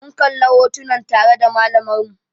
Mun kalla hotunan tare da malamar mu